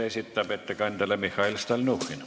Küsimuse ettekandjale esitab Mihhail Stalnuhhin.